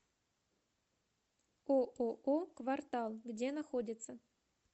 ооо квартал где находится